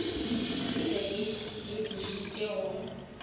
e be e lebišitše go